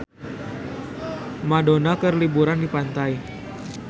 Madonna keur liburan di pantai